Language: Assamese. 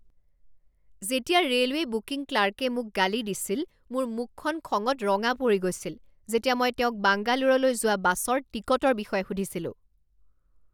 যেতিয়া ৰেলৱে বুকিং ক্লাৰ্কে মোক গালি দিছিল মোৰ মুখখন খঙত ৰঙা পৰি গৈছিল যেতিয়া মই তেওঁক বাংগালোৰলৈ যোৱা বাছৰ টিকটৰ বিষয়ে সুধিছিলো।